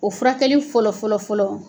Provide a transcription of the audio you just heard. O furakɛli fɔlɔ fɔlɔ fɔlɔ